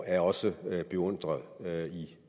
er også beundret